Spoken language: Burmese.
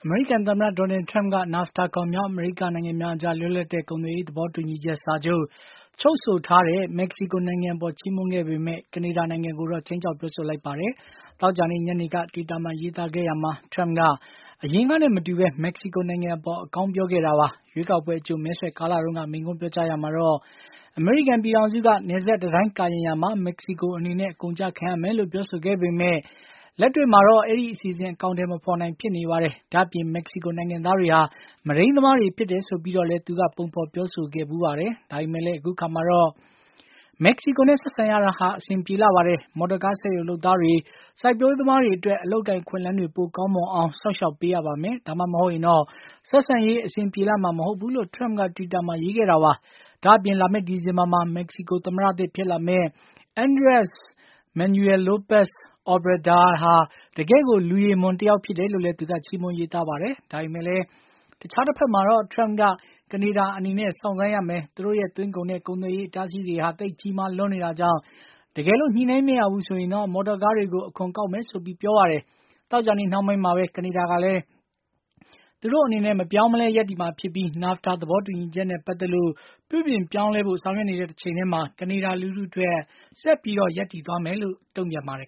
မေရိကန်သမ္မတ Donald Trump က NAFTA ခေါ် မြောက်အမေရိက နိုင်ငံများအကြား လွတ်လပ်တဲ့ ကုန်သွယ်ရေး သဘောတူညီချက်စာချုပ် ချုပ်ဆိုထားတဲ့ မက္ကစီကိုနိုင်ငံ အပေါ် ချီးမွမ်းခဲ့ပေမယ့် ကနေဒါကိုတော့ ခြိမ်းခြောက်ပြောဆိုလိုက်ပါတယ်။ သောကြာနေ့ညနေက တွိတာမှာရေးသားခဲ့ရမှာ ထရမ့်က အရင်ကနဲ့မတူဘဲ မက္ကစီကို နိုင်ငံအပေါ် အကောင်း ပြောခဲ့တာပါ။ ရွေးကောက်ပွဲအကြို မဲဆွယ်ကာလတုန်းက မိန့်ခွန်းပြောကြားရာမှာတော့ အမေရိကန်ပြည် ထောင်စုက နယ်စပ်တံတိုင်းကာရံရာမှာ မက္ကစီကိုအနေနဲ့ အကုန်အကျခံရမယ်လို့ ပြောဆိုခဲ့ပေမယ့် လက်တွေ့ မှာတော့ အဲဒီ အစီအစဉ် အကောင်အထည်မဖေါ်နိုင် ဖြစ်နေပါတယ်။ ဒါ့အပြင် မက္ကစီကိုနိုင်ငံသားတွေ ဟာ မုဒိန်း သမားတွေဆိုပြီးတော့လည်း ပုံဖေါ်ပြောဆိုခဲ့ပါတယ်။ ဒါပေမယ့်လည်း အခုအခါမှာတော့ “မက္ကစီကိုနဲ့ ဆက်ဆံရတာဟာ အဆင်ပြေလှပါတယ်။ မော်တော်ကားစက်ရုံ လုပ်သားတွေ၊ စိုက်ပျိုးရေးသမားတွေအတွက် အလုပ်အကိုင် အခွင့် အလမ်းတွေ ပိုကောင်းမွန်အောင် စောင့်ရှောက်ပေးရပါမယ်။ ဒါမှမဟုတ်ရင်တော့ ဆက်ဆံရေး အဆင်ပြေလှမှာ မဟုတ်ဘူး” လို့ ထရမ့်က တွိတာမှာ ရေးခဲ့တာပါ။ ဒါ့အပြင် လာမယ့် ဒီဇင်္ဘာမှာ မက္ကစီကို သမ္မတသစ်ဖြစ်လာမယ့် Andres Manuel Lopez Obrador ဟာ တကယ့်ကို လူရည်မွန် တယောက်ဖြစ်တယ်လို့လည်း သူက ချီးမွမ်း ရေး သားပါတယ်။ ဒါပေမယ့်လည်း တခြားတဘက်မှာတော့ ထရမ့်က “ကနေဒါအနေနဲ့ စောင့် ဆိုင်းရမယ့် သူတို့ရဲ့သွင်းကုန်ခွန်နဲ့ ကုန်သွယ်ရေး အတားအဆီးတွေဟာ သိတ်ကြီးမား လွန်းနေတာကြောင့် တကယ်လို့ ညှိနှိုင်းမရဘူးဆိုရင်တော့ မော်တော်ကားတွေကို အခွန် ကောက်မယ်” လို့ ဆိုပါတယ်။ သောကြာနေ့ နှောင်းပိုင်းမှာပဲ ကနေဒါကလည်း သူတို့အနေနဲ့ မပြောင်းမလဲရပ်တည်မှာ ဖြစ်ပြီး NAFTA သဘော တူညီချက်နဲ့ ပတ်သက်လို့ ပြုပြင်ပြောင်းလဲဖို့ ဆောင်ရွက်နေတဲ့ တချိန်တည်းမှာ ကနေဒါ လူထုအတွက် ဆက်ပြီး ရပ်တည်သွားမယ်ဆိုပြီး တုံ့ပြန်ပါတယ်